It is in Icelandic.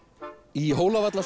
í